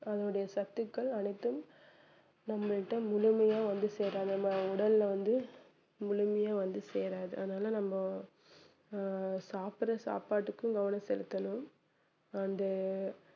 அதனுடைய சத்துக்கள் அனைத்தும் நம்ம கிட்ட முழுமையாக வந்து சேராது நம்ம உடல்ல வந்து முழுமையா வந்து சேராது அதனால நம்ம ஆஹ் சாப்பிட்ற சாப்பாட்டுக்கும் கவனம் செலுத்தணும் and